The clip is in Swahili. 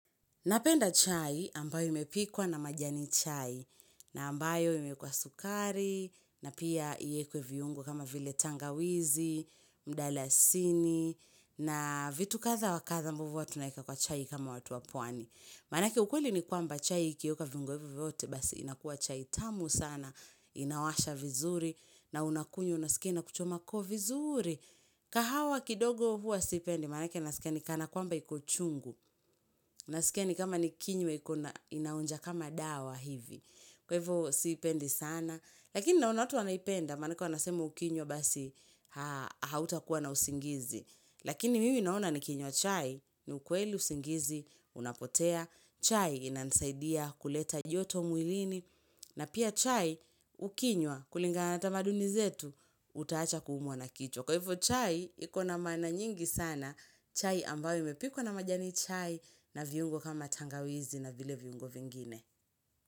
Napenda chai ambayo imepikwa na majani chai, na ambayo imeekwa sukari, na pia iekwe viungo kama vile tangawizi, mdalasini, na vitu kadha wakadha ambovyo huwa tunaeka kwa chai kama watu wa pwani. Manake ukweli ni kwamba chai ikiwekwa viungo hivyo vyote basi inakuwa chai tamu sana, inawasha vizuri, na unakunywa unasikia inakuchoma koo vizuri. Kahawa kidogo huwa sipendi, manake nasia ni kana kwamba iko chungu, nasika ni kama nikinywa inaonja kama dawa hivi, kwa hivo sipendi sana, lakini naona watu wanaipenda, manake wanasema ukinywa basi hauta kuwa na usingizi, lakini mimi naona nikinywa chai, ni ukweli usingizi, unapotea, chai inansaidia kuleta joto mwilini, na pia chai ukinywa kulingana na tamaduni zetu, utaacha kuumwa na kichwa. Kwa hivyo chai iko na maana nyingi sana chai ambayo imepikwa na majani chai na viungo kama tangawizi na vile viungo vingine.